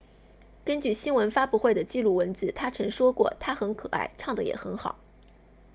根据新闻发布会的记录文字他曾说过她很可爱唱得也很好